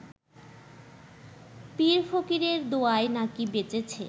পীরফকিরের দোয়ায় নাকি বেঁচেছে